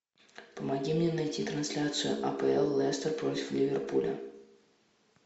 помоги мне найти трансляцию апл лестер против ливерпуля